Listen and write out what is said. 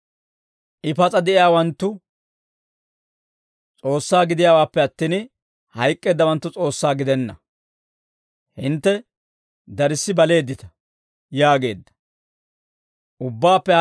I pas'a de'iyaawanttu S'oossaa gidiyaawaappe attin, hayk'k'eeddawanttu S'oossaa gidenna; hintte darssi baleeddita» yaageedda.